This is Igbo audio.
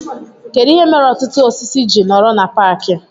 Kedụ ihe mere ọtụtụ osisi ji nọrọ na paaki